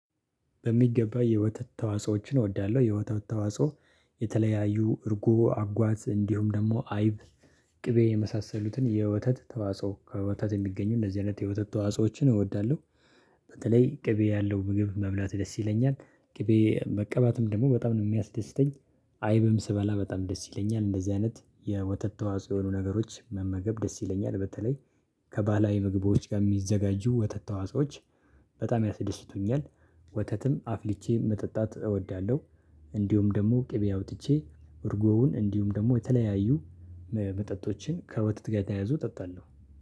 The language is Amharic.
በሚገባ የወተት ተዋጾዎችን እወዳለሁ። የወተት ተዋጾ የተለያዩ እርጎ አጓዝ እንዲሁም ደግሞ አይብ ቅቤ የመሳሰሉትን የወተት ተዋጽኦ ከወተት የሚገኙ እንደዚህ አይነት የወተት ተዋጽኦዎችን እወዳለሁ። በተለይ ቅቤ ያለው ምግብ መብላት ደስ ይለኛል ቅቤ መቀባትም ደግሞ በጣም ነው የሚያስደስተኝ። አይብም ስበላ በጣም ደስ ይለኛል እንደዚህ አይነት የወተት ተዋጽኦ የሆኑ ነገሮች መመገብ ደስ ይለኛል። በተለይ ከባህላዊ ምግቦች ጋር የሚዘጋጁ ወተት ተዋጾዎች በጣም ያስደስቱኛል። ወተትም አፍልቼ መጠጣት እወዳለሁ። እንዲሁም ደግሞ ቅቤ አውጥቼ እርጎውን እንዲሁም ደግሞ የተለያዩ መጠጦችን ከወተትጋ የተያያዙ እጠጣለሁ